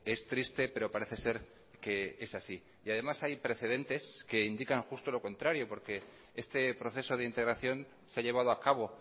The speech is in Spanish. es triste pero parece ser que es así y además hay precedentes que indican justo lo contrario porque este proceso de integración se ha llevado a cabo